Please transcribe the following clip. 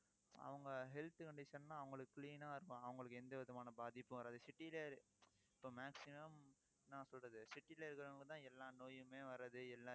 அவங்க health condition ன்னா அவங்களுக்கு clean ஆ இருப்பாங்க. அவங்களுக்கு எந்த விதமான பாதிப்பும் வராது. city ல இப்ப maximum என்ன சொல்றது city ல இருக்கிறவங்கதான் எல்லா நோயுமே வர்றது எல்லா